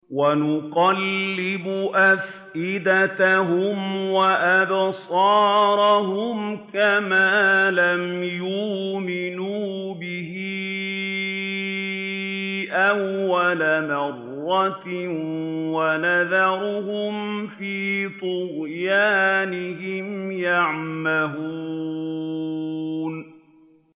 وَنُقَلِّبُ أَفْئِدَتَهُمْ وَأَبْصَارَهُمْ كَمَا لَمْ يُؤْمِنُوا بِهِ أَوَّلَ مَرَّةٍ وَنَذَرُهُمْ فِي طُغْيَانِهِمْ يَعْمَهُونَ